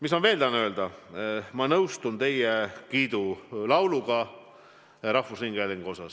Tahan veel seda öelda, et ma nõustun teie kiidulauluga rahvusringhäälingule.